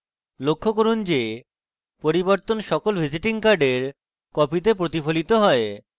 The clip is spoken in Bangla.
লক্ষ্য করুন যে পরিবর্তন সকল visiting card কপিতে প্রতিফলিত হয়